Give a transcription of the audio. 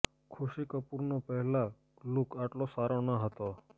ખુશી કપૂરનો પહેલા લુક આટલો સારો ના હતો